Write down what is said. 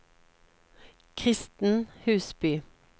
Kristen Husby